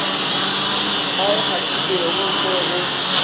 ba e kgathilego mo go